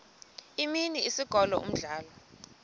imini isikolo umdlalo